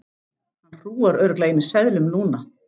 Hann hrúgar örugglega í mig seðlum núna.